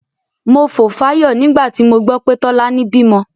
Mo fò fáyọ̀ nígbà tí mo gbọ́ pé Tọ́lání bímọ.